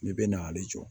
Ne bɛ na ale jɔ